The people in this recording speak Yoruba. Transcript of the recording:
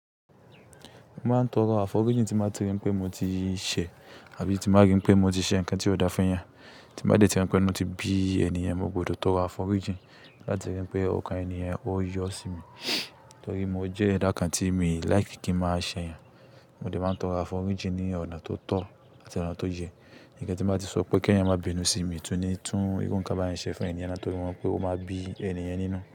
Mo máa ń tọrọ àfọrijí tí n bá ti rí pé mo ti ṣẹ̀ àbí tí n bá rí pé mo ti ṣe ǹkan ti o da fún yàn. Tí n bá dé rí pé inú tí bí ènìyàn, mo gbọdọ̀ tọrọ àfọríjí láti rí pé ọkàn ènìyàn ó yọ́ sí mi. Nítorí mo jẹ́ ẹ̀dá kan tí mi like kí n máa ṣẹ̀ yàn. Mo dé máa ń tọrọ àfọrijí ní ọ̀nà tó tọ̀ àti ọ̀nà tó yẹ. Ǹkan tí n bá ti sọ pé kéyàn má bínú sí mi tún ní tún irú ǹkan báyẹn ṣe fún ẹniyẹn mọ́ torí mo mọ̀ pé ó ma bí ẹniyẹn nínú.